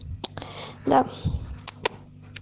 да